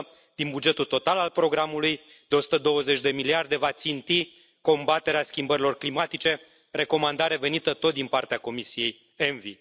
din bugetul total al programului de 120 de miliarde va ținti combaterea schimbărilor climatice, recomandare venită tot din partea Comisiei ENVI.